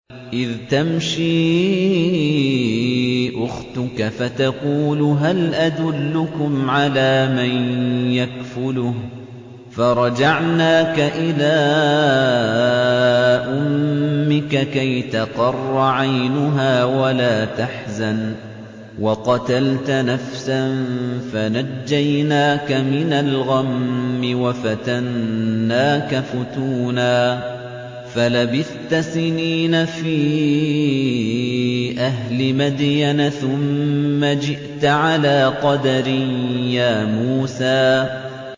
إِذْ تَمْشِي أُخْتُكَ فَتَقُولُ هَلْ أَدُلُّكُمْ عَلَىٰ مَن يَكْفُلُهُ ۖ فَرَجَعْنَاكَ إِلَىٰ أُمِّكَ كَيْ تَقَرَّ عَيْنُهَا وَلَا تَحْزَنَ ۚ وَقَتَلْتَ نَفْسًا فَنَجَّيْنَاكَ مِنَ الْغَمِّ وَفَتَنَّاكَ فُتُونًا ۚ فَلَبِثْتَ سِنِينَ فِي أَهْلِ مَدْيَنَ ثُمَّ جِئْتَ عَلَىٰ قَدَرٍ يَا مُوسَىٰ